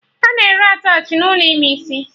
A na-ere attachị n'ụlọ ime isi